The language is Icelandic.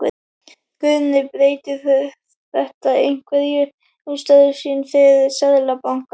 Guðný: Breytir þetta einhverju um störf þín fyrir Seðlabankann?